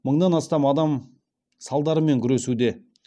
мыңнан астам адам салдарымен күресуде